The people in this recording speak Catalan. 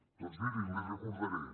doncs miri els hi recordaré